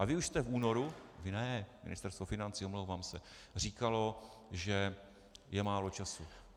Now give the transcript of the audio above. A vy už jste v únoru - vy ne, Ministerstvo financí, omlouvám se - říkali, že je málo času.